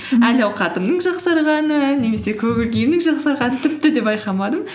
әл ауқатымның жақсарғанын немесе көңіл күйімнің жақсарғанын тіпті де байқамадым